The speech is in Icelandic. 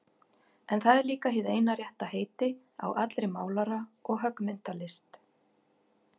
En það er líka hið eina rétta heiti á allri málara- og höggmyndalist.